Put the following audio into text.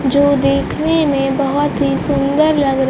जो देखने में बहोत ही सुंदर लग--